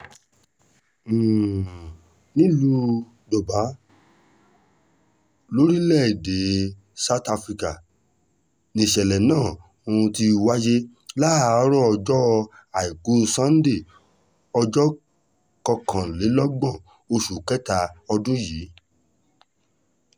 um nílùú durban lórílẹ̀-èdè south africa nìṣẹ̀lẹ̀ náà um ti wáyé láàárọ̀ ọjọ́ àìkú sannde ọjọ́ kọkànlélọ́gbọ̀n oṣù kẹta ọdún yìí